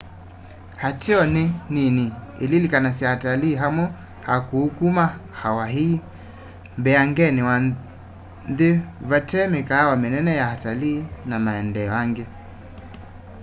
ateo nî nini ililikanasya atalii amwe akûû kuma hawaii mbeangenî wa nthî vate mîkaawa mînene ya atalii na maendeeo angî